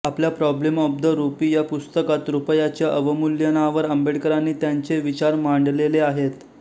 आपल्या problem of the rupee या पुस्तकात रुपयाच्या अवमूल्यनावर आंबेडकरांनी त्यांचे विचार मांडलेले आहेत